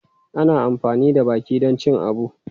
Ana amfani da baki don cin abu.